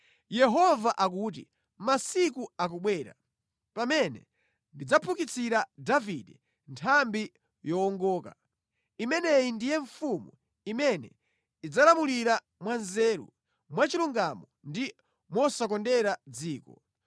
Yehova akuti, “Masiku akubwera, pamene ndidzaphukitsira Davide Nthambi yowongoka. Imeneyi ndiye mfumu imene idzalamulira mwanzeru, mwachilungamo ndi mosakondera mʼdziko.